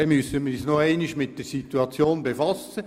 Dann müssen wir uns noch einmal mit der Situation befassen.